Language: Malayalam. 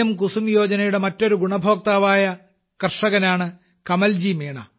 കുസുമ് യോജനയുടെ മറ്റൊരു ഗുണഭോക്താവായ കർഷകനാണ് കമൽജിമീണ